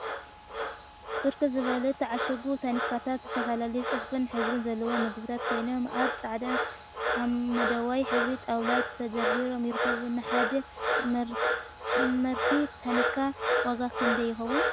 ብርክት ዝበሉ ዝተዓሸጉ ታኒካታት ዝተፈላለየ ፅሑፍን ሕብሪን ዘለዎም ምግቢታት ኮይኖም፤ አብ ፃዕዳን ሓመደዋይ ሕብሪ ጣውላ ተደርዲሮም ይርከቡ፡፡ ንሓደ መርቲ ታኒካ ዋጋ ክንደይ ይኸውን?